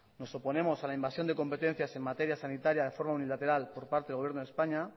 nos oponemos a la invasión de competencias en materia sanitaria de forma unilateral por parte del gobierno de españa